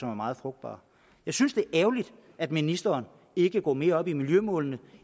er meget frugtbar jeg synes det er ærgerligt at ministeren ikke går mere op i miljømålene